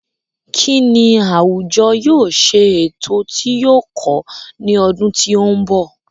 Kín ni àwùjọ yóò ṣe ètò tí yóò kọ́ ní ọdún tí ó ń bọ̀?.